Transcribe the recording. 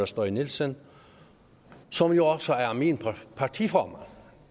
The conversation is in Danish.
steig nielsen som jo også er min partiformand